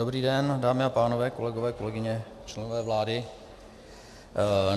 Dobrý den, dámy a pánové, kolegové, kolegyně, členové vlády.